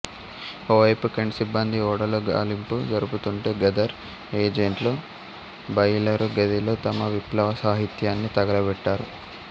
ఓవైపు కెంట్ సిబ్బంది ఓడలో గాలింపు జరుపుతోంటే గదర్ ఏజెంట్లు బాయిలరు గదిలో తమ విప్లవ సాహిత్యాన్ని తగలబెట్టారు